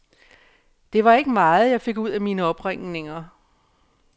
Det var ikke meget, jeg fik ud af mine opringninger.